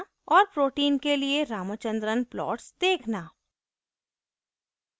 और proteins के लिए ramachandran plot देखना